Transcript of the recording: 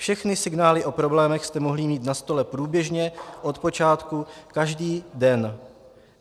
Všechny signály o problémech jste mohli mít na stole průběžně od počátku každý den.